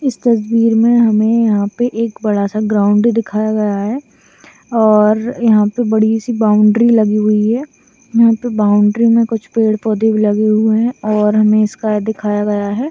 इस तस्वीर में हमें यहाँ पे एक बड़ा सा ग्राउंड दिखाया गया है और यहाँ पर बड़ी सी बाउंड्री लगी हुई है यहाँ पे बाउंड्री में कुछ पेड़-पौधे भी लगे हुए है और हमें स्काई दिखाया गया है।